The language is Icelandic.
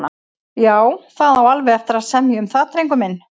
Já, það á alveg eftir að semja um það, drengur minn.